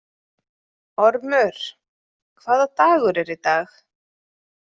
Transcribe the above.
Ormur, hvaða dagur er í dag?